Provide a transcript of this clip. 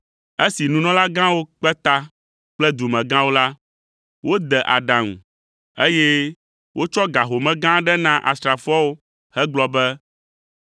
Esi nunɔlagãwo kpe ta kple dumegãwo la, wode aɖaŋu, eye wotsɔ ga home gã aɖe na asrafoawo hegblɔ be,